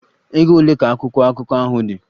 Ego ole ka akwụkwọ akụkọ ahụ dị?